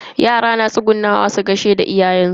Yara na tsugunnawa su gaida iyayen su.